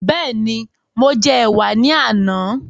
Bẹ́ẹ̀ni, mo jẹ ẹ̀wà ní àná